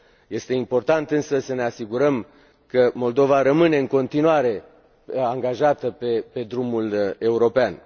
Este important însă să ne asigurăm că Moldova rămâne în continuare angajată pe drumul european.